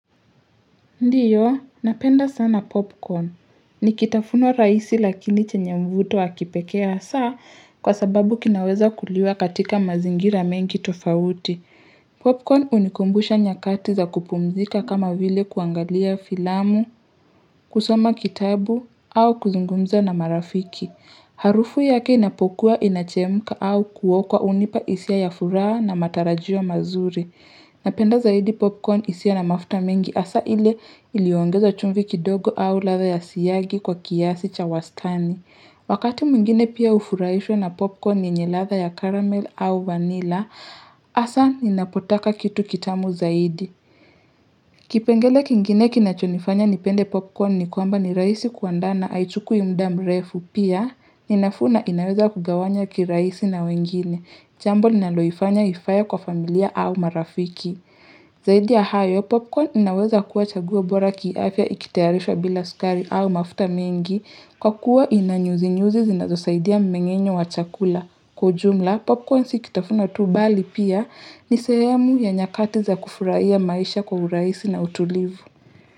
Ndiyo, napenda sana popcorn. Ni kitafunwa raisi lakini chenye mvuto wakipekee hasaa kwa sababu kinaweza kuliwa katika mazingira mengi tofauti. Popcorn unikumbusha nyakati za kupumzika kama vile kuangalia filamu, kusoma kitabu, au kuzungumza na marafiki. Harufu yake inapokuwa inachemka au kuokwa unipa isia ya furaha na matarajio mazuri. Napenda zaidi popcorn isia na mafuta mengi asa ile iliongeza chumvi kidogo au latha ya siyagi kwa kiasi cha wastani. Wakati mwingine pia ufuraishwa na popcorn yenye latha ya karamel au vanila asa ninapotaka kitu kitamu zaidi. Kipengele kingine kinachonifanya nipende popcorn ni kwamba ni raisi kuandana haichukui muda mrefu pia ninafuu na inaweza kugawanya kiraisi na wengine. Jambo ninaloifanya ifae kwa familia au marafiki. Zaidi ya hayo, popcorn inaweza kuwa chaguo bora kiafya ikitayarishwa bila sukari au mafuta mengi kwa kuwa inanyuzi nyuzi zinazosaidia mmenyenyo wa chakula. Kwa ujumla, popcorn sikitafuno tu bali pia ni sehemu ya nyakati za kufuraiya maisha kwa uraisi na utulivu.